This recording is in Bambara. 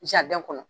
kɔnɔ